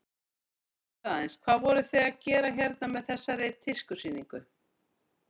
Segðu mér aðeins, hvað voruð þið að gera hérna með þessari tískusýningu?